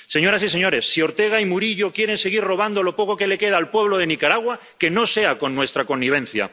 Señoras y señores, si Ortega y Murillo quieren seguir robando lo poco que le queda al pueblo de Nicaragua, que no sea con nuestra connivencia.